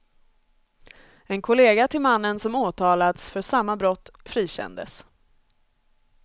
En kollega till mannen som åtalats för samma brott frikändes.